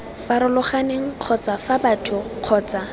farologaneng kgotsa fa batho kgotsa